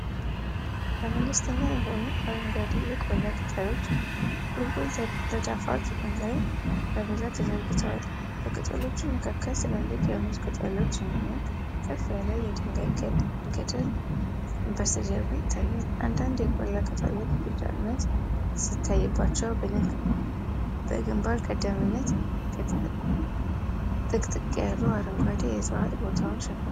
ለመለስተኛ የሆኑ አረንጓዴ የቆላ ቅጠሎች ቁልቁል ተዳፋት ላይ በብዛት ተዘርግተዋል። በቅጠሎቹ መካከል ትላልቅ የሙዝ ቅጠሎች እንዲሁም ከፍ ያለ የድንጋይ ገደል በስተጀርባ ይታያል። አንዳንድ የቆላ ቅጠሎች ቢጫነት ሲታይባቸው፣ በግንባር ቀደምትነት ጥቅጥቅ ያሉ አረንጓዴ እፅዋት ቦታውን ሸፍነዋል።